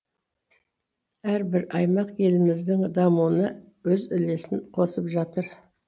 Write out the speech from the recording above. әрбір аймақ еліміздің дамуына өз үлесін қосып жатыр